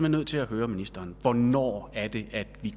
nødt til at høre ministeren hvornår er det at vi